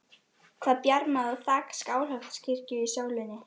Var hann virkilega orðinn ástfanginn eina ferðina enn?